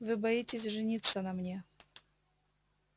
вы боитесь жениться на мне